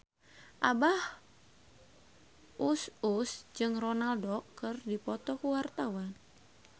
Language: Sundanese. Abah Us Us jeung Ronaldo keur dipoto ku wartawan